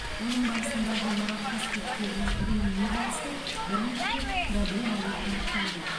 оның барысында ғимарат қасбеттерінің реңіне қатысты бірнеше проблемалар анықталды